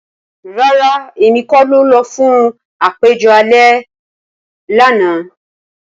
Rara, Emi ko lọ fun apejọ alẹ ana.